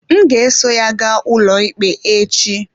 M ga-eso ya gaa ụlọikpe echi.